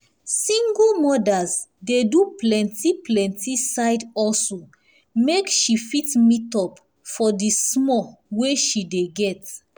single mothers dey do plenti plenti side hustle make she fit meet up for di small wey she dey get